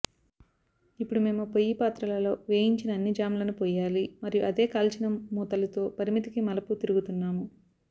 ఇప్పుడు మేము పొయ్యి పాత్రలలో వేయించిన అన్ని జామ్లను పోయాలి మరియు అదే కాల్చిన మూతలుతో పరిమితికి మలుపు తిరుగుతున్నాము